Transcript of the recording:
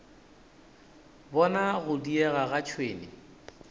bona go diega ga tšhwene